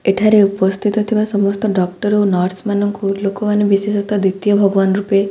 ଏଠାରେ ଉପସ୍ଥିତ ଥିବା ସମସ୍ତ ଡକ୍ଟର ଓ ନର୍ସ ମାନଙ୍କୁ ଲୋକମାନେ ବିଶେଷତଃ ଦ୍ୱିତୀୟ ଭଗବାନ ରୂପେ--